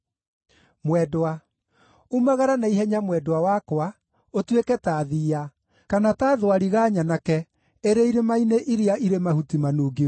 Umagara na ihenya mwendwa wakwa, ũtuĩke ta thiiya, kana ta thwariga nyanake ĩrĩ irĩma-inĩ iria ĩrĩ mahuti manungi wega.